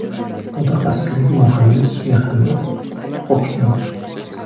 Mutaxassisligi muhandis-mexanik, huquqshunos.